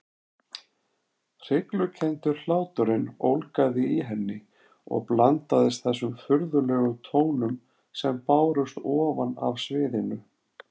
Hryglukenndur hláturinn ólgaði í henni og blandaðist þessum furðulegum tónum sem bárust ofan af sviðinu.